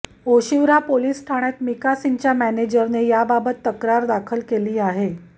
Oshiwara police ठाण्यात मिका सिंगच्या मॅनेजरने याबाबत तक्रार दाखल केली आहे